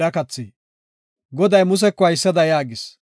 Goday Museko haysada yaagis;